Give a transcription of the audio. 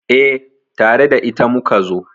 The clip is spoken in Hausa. Eh, tare da ita muka zo